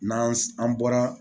N'an an bɔra